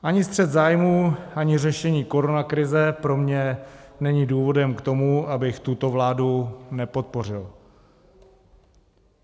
Ani střet zájmů, ani řešení koronakrize pro mě není důvodem k tomu, abych tuto vládu nepodpořil.